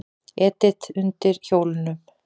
Edita undir hjólunum.